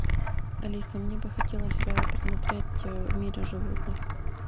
алиса мне бы хотелось посмотреть в мире животных